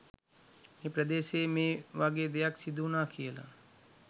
මේ ප්‍රදේශයේ මේ වගේ දෙයක්‌ සිදුවුණා කියලා.